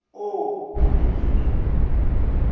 oo e ne e le